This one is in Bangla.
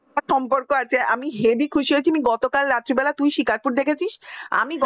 সম্পর্ক আছে আমি heavy খুশি হয়েছি গতকাল রাত্রে বেলায় তুই শেখার পুর দেখেছিস আমি